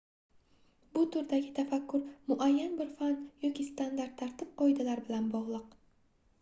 bu turdagi tafakkur muayyan bir fan yoki standart tartib-qoidalar bilan bogʻliq